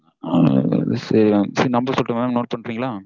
ஆஹ் சரி mamnumber சொல்லட்டுமா mam note பண்றீங்களா?